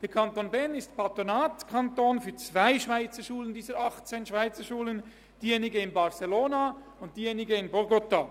Der Kanton Bern ist Patronatskanton für 2 von 18 Schweizerschulen, für diejenige in Barcelona und für diejenige in Bogotá.